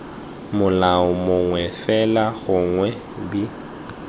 molao mongwe fela gongwe b